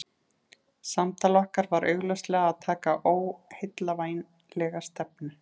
Samtal okkar var augljóslega að taka óheillavænlega stefnu.